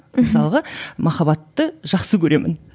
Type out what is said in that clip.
мхм мысалға махаббатты жақсы көремін